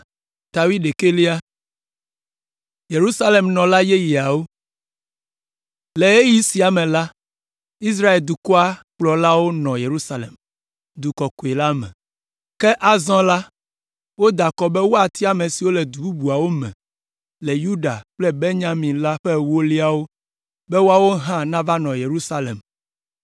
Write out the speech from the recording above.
Le ɣeyiɣi sia me la, Israel dukɔa kplɔlawo nɔ Yerusalem, Du Kɔkɔe la me. Ke azɔ la, woda akɔ be woatia ame siwo le du bubuawo me le Yuda kple Benyamin la ƒe ewolia be woawo hã nava nɔ Yerusalem.